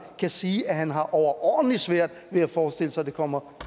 siger at han har overordentlig svært ved at forestille sig at det kommer